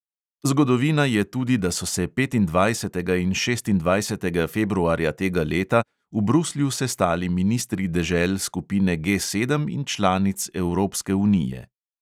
Zgodovina je tudi, da so se petindvajsetega in šestindvajsetega februarja tega leta v bruslju sestali ministri dežel skupine G sedem in članic evropske unije.